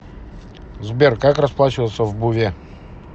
сбер как расплачиваться в буве